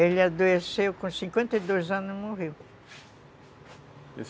Ele adoeceu e com cinquenta e dois anos, morreu.